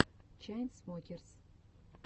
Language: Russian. чайнсмокерс